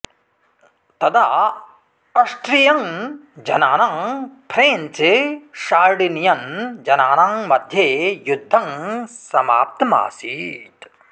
तदा अस्स्ट्रियन् जनानां French Sardinian जनानां मध्ये युध्दं समाप्तमासीत्